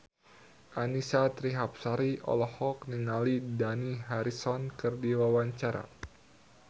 Annisa Trihapsari olohok ningali Dani Harrison keur diwawancara